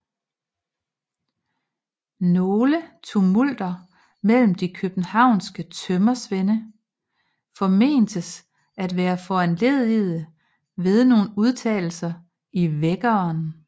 Nogle tumulter mellem de københavnske tømmersvende formentes at være foranledigede ved nogle udtalelser i Vækkeren